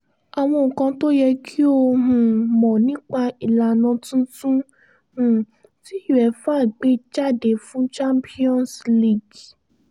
àwọn nǹkan tó yẹ kí o um mọ̀ nípa ìlànà tuntun um tí uefa gbé jáde fún champions league